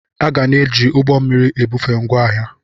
A ga na-eji ụgbọ mmiri ebufe ngwaahịa.